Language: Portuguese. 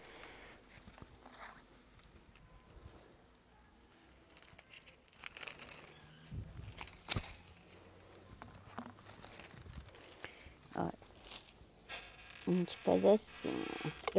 Olha, a gente faz assim.